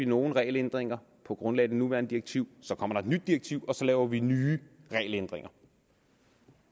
nogle regelændringer på grundlag af det nuværende direktiv så kommer der et nyt direktiv og så laver vi nye regelændringer